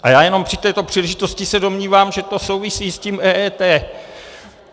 A já jenom při této příležitosti se domnívám, že to souvisí s tím EET.